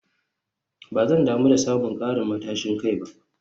Ba zan damu da samun karin matashin kai ba